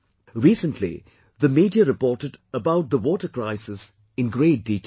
Recently the Media reported about the water crisis in great detail